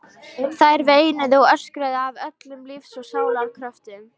Þær veinuðu og öskruðu af öllum lífs og sálar kröftum.